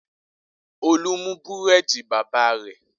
Olú mú búrẹ́dì bàbá rẹ̀?